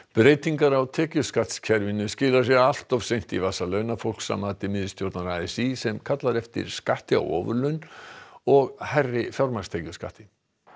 breytingar á tekjuskattskerfinu skila sér allt of seint í vasa launafólks að mati miðstjórnar a s í sem kallar eftir skatti á ofurlaun og hærri fjármagnstekjuskatti